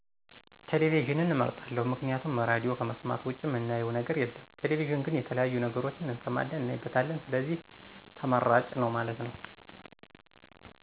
ቴሌቪዥንን አመርጣለሁ፦ ምክንያቱም ራድዮ ከመሥማት ውጭ ምናየው ነገር የለም ቴሌቪዥን ግን የተለያዬ ነገሮችን እሠማን እናይበታለን ስለዚህ ተመራጭ ነው ማለት ነው።